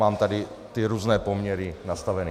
Mám tady ty různé poměry nastaveny.